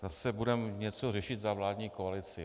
Zase budeme něco řešit za vládní koalici.